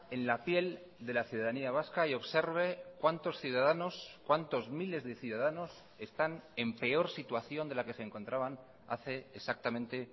en la piel de la ciudadanía vasca y observe cuántos ciudadanos cuántos miles de ciudadanos están en peor situación de la que se encontraban hace exactamente